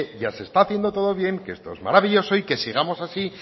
ya se está haciendo todo bien que esto es maravilloso y que sigamos así